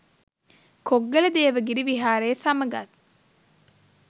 කොග්ගල දේවගිරි විහාරය සමගත්